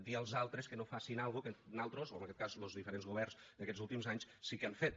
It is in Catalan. dir als altres que no facin alguna cosa que nosaltres o en aquest cas los diferents governs d’aquests últims anys sí que han fet